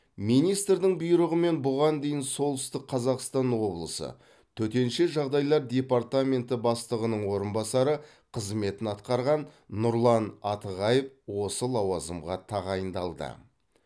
министрдің бұйрығымен бұған дейін солтүстік қазақстан облысы төтенше жағдайлар департаменті бастығының орынбасары қызметін атқарған нұрлан атығаев осы лауазымға тағайындалды